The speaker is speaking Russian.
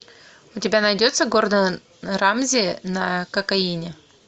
у тебя найдется гордон рамзи на кокаине